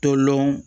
Tolɔn